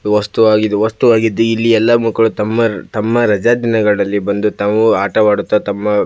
ವಸ್ತುವಾಗಿದೆ ವಸ್ತುವಾಗಿದ್ ಇಲ್ಲಿ ಎಲ್ಲ ಮಕ್ಕಳು ತಮ್ಮ ತಮ್ಮ ರಜ ದಿನಗಳಲ್ಲಿ ಬಂದು ತಾವು ಆಟವಾಡುತ್ತ ತಮ್ಮ --